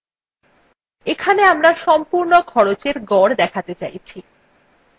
এখানে আমরা সম্পূর্ণ খরচের গড় দেখাতে চাইছি